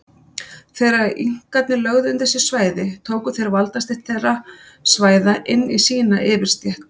Þegar Inkarnir lögðu undir sig svæði tóku þeir valdastétt þeirra svæða inn í sína yfirstétt.